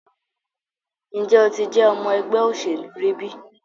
Nje o ti je ọmọ ẹgbẹ oselu ri bi?